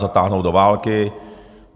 Zatáhnout do války.